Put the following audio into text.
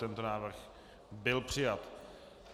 Tento návrh byl přijat.